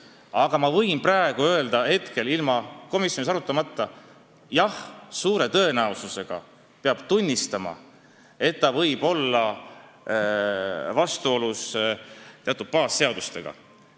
Aga ma võin juba praegu, ilma komisjonis arutamata öelda, et suure tõenäosusega peab tunnistama, et otsus võib olla vastuolus teatud baasseadustega.